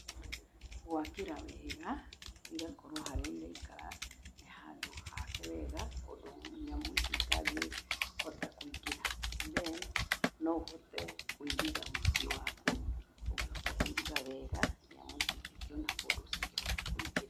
Gwakĩra wega, igakorwo harĩa iraikara nĩ handũ hake wega ũndũ nyamũ ici itangĩhota kũingĩra. Then no ũhote kũiriga mũciĩ waku, ũngĩhota kũiriga wega, nyamũ ici itingĩona kũndũ cingĩhota kũingĩrĩra.